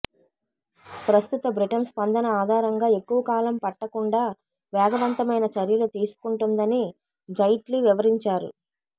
ప్రస్తుత బ్రిటన్ స్పందన ఆధారంగా ఎక్కువ కాలం పట్టకుండా వేగవంతమైన చర్యలు తీసుకుంటుందని జైట్లీ వివరించారు